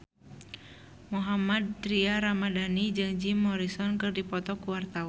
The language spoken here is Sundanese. Mohammad Tria Ramadhani jeung Jim Morrison keur dipoto ku wartawan